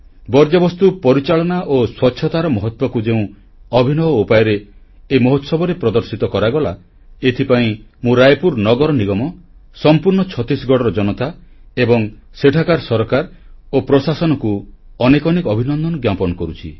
ବର୍ଜ୍ୟବସ୍ତୁ ପରିଚାଳନା ଓ ସ୍ୱଚ୍ଛତାର ମହତ୍ୱକୁ ଯେଉଁ ଅଭିନବ ଉପାୟରେ ଏ ମହୋତ୍ସବରେ ପ୍ରଦର୍ଶିତ କରାଗଲା ଏଥିପାଇଁ ମୁଁ ରାୟପୁର ନଗର ନିଗମ ସମ୍ପୂର୍ଣ୍ଣ ଛତିଶଗଡ଼ର ଜନତା ଏବଂ ସେଠାକାର ସରକାର ଓ ପ୍ରଶାସନକୁ ଅନେକ ଅନେକ ଅଭିନନ୍ଦନ ଜ୍ଞାପନ କରୁଛି